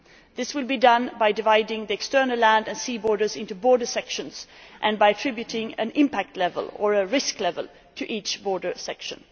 This will be done by dividing the external land and sea borders into border sections and by attributing an impact level' or risk level' to each section.